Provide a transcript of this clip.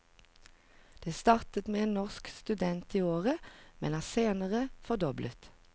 Det startet med én norsk student i året, men er senere fordoblet.